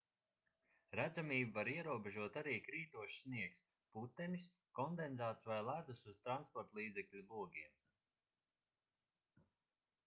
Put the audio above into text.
redzamību var ierobežot arī krītošs sniegs putenis kondensāts vai ledus uz transportlīdzekļa logiem